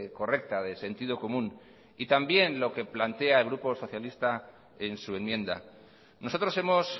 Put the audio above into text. correcta de sentido común y también lo que plantea el grupo socialista en su enmienda nosotros hemos